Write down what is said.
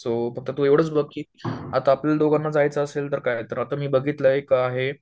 so फक्त तू एवढंच बघ की आता आपल्या दोघांना जायचं असेल तर काय, तर आता मी बघितलय एक आहे